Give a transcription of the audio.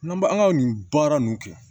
N'an b'an ka nin baara nunnu kɛ